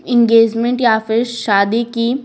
engagement या फिर शादी की--